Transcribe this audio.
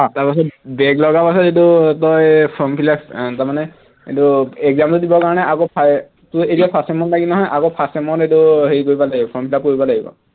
তাৰপাছত back লগাৰ পাছত এইটো তই form fill up আহ তাৰমানে এইটো exam টো দিবৰ কাৰণে আকৌ তোৰ এতিয়া first sem ত লাগিল নহয় আকৌ first sem ত এইটো হেৰি কৰিব লাগিব form fill up কৰিব লাগিব